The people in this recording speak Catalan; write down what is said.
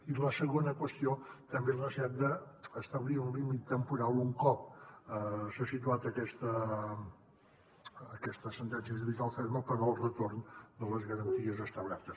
i la segona qüestió també la necessitat d’establir un límit temporal un cop s’ha situat aquesta sentència judicial ferma per al retorn de les garanties establertes